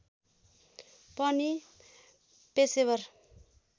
पनि पेशेवर